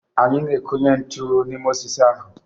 Anyị na-ekunye ntu n'ime osisi ahụ